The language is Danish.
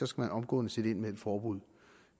skal man omgående sætte ind med et forbud